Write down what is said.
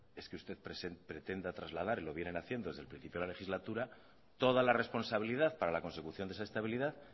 es que usted pretenda trasladar y lo vienen haciendo desde el principio de la legislatura toda la responsabilidad para la consecución de esa estabilidad